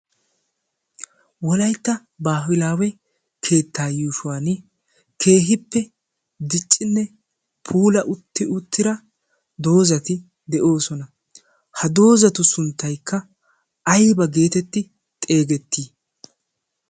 wolaitta baahilaawe keettaa yuushuwan keehippe diccinne puula utti uttira doozati de'oosona. ha doozatu sunttaikka aiba geetetti xeegettii?